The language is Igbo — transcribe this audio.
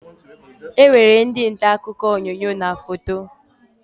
E nwere ndị ntaakụkọ onyoonyo na foto